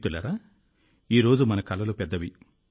మిత్రులారా ఈ రోజు మన కలలు పెద్దవి